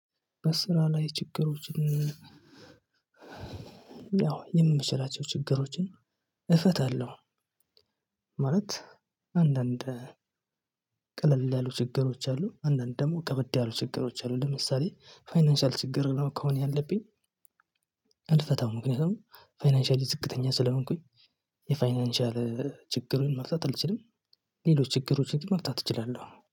በስራ ላይ ችግሮችን ያው የምችላቸው ችግሮችን እፈታለሁ። ማለት አንዳንድ ቀለል ያሉ ችግሮች አሉ አንዳንድ ደግሞ ከበድ ያሉ ችግሮች አሉ። ለምሳሌ ፋይናንሻል ችግር ነው ከሆነ ያለብኝ። እንደተታው ምክንያቱም ፋይናንሻል ዝቅተኛ ስለሆንኩኝ የፋይናንሻል ችግሩን መፍታት አልችልም። ሌሎች ችግሮችን ግን መፍታት እችላለሁ